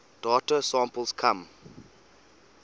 data samples come